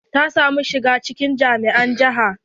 Ta samu shiga cikin jami'a na jiha.